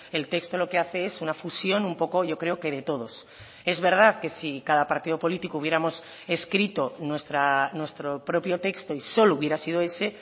el texto lo que hace es una fusión un poco yo creo que de todos es verdad que si cada partido político hubiéramos escrito nuestro propio texto y solo hubiera sido ese